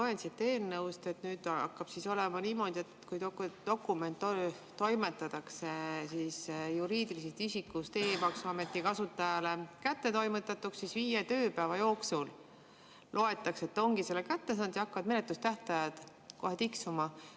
Ma loen siit eelnõust, et nüüd hakkab olema niimoodi, et kui dokument toimetatakse juriidilisest isikust e-maksuameti kasutajale kätte, siis viie tööpäeva pärast loetakse, et ta ongi selle kätte saanud ja hakkavad menetlustähtajad kohe tiksuma.